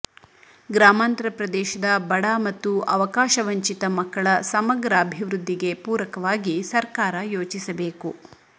ಗ್ರಾಮಾಂತರ ಪ್ರದೇಶದ ಬಡ ಮತ್ತು ಅವಕಾಶ ವಂಚಿತ ಮಕ್ಕಳ ಸಮಗ್ರ ಅಭಿವೃದ್ಧಿಗೆ ಪೂರಕವಾಗಿ ಸರ್ಕಾರ ಯೋಚಿಸಬೇಕು